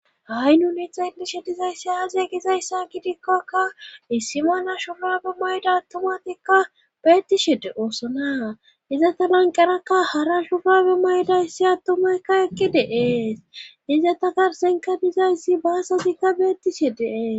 Ha7i nuni xeelishe dizayssi aaze gizayssa kidikkakka issimana shufabe mayda attomatikka beettishede oosonaa izata lanqarakka hara shugaabe maydayssi attumaykka eqqi deees izata garsenka dizayssi baasatikka beettishe deees.